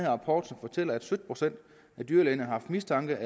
rapport som fortæller at sytten procent af dyrlægerne har haft mistanke